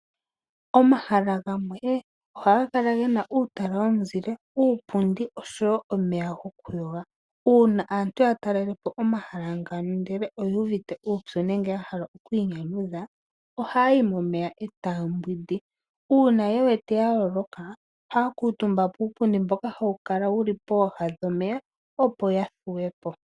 Omahala gamwe ohaga kala gena uutala womuzile, uupundi oshowo omeya goku yoga. Una aantu ya talelepo omahala ngano ndele oyu uvite uupyu nenge ya hala oku inyanyudha, ohaya yi momeya e taya mbwindi. Una ye wete ya loloka ohaya kuutumba puupundi mboka hawu kala wuli pooha dhomeya, opo ya thuwe po.